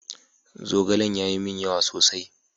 Zogalen ya yi min yawa sosai.